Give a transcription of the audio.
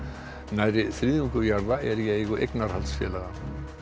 nærri þriðjungur jarða er í eigu eignarhaldsfélaga